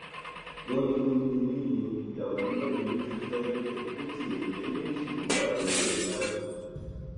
wọn ní nínú ilé yẹn ìyàwó mẹrin ló ti fẹ níbẹ bó tiẹ jẹ méjì ló wà lọdọ ẹ báyìí